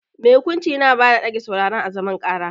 Mai hukunci Yana bada dage sauraron à zaman karà.